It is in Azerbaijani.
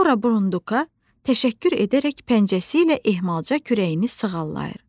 Sonra burunduka təşəkkür edərək pəncəsi ilə ehmalca kürəyini sığallayır.